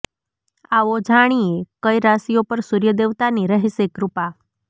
આવો જાણીએ કઈ રાશીઓ પર સૂર્ય દેવતા ની રહેશે કૃપા